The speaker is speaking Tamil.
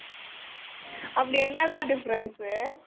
அப்படி என்னடா difference ?